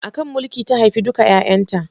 A kan mulki ta haifi duka 'yayanta.